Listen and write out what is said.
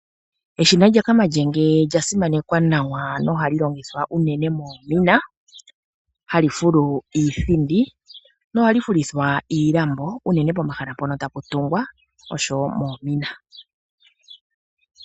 Eshina lyakamalyenge olya simanekwa nawa nohali longithwa unene moomina, hali fulu iithindi nohali fulithwa iilambo unene pomahala mpono tapu tungwa noshowo moomina.